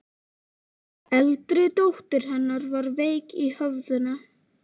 Eldri dóttir hennar var veik í höfðinu.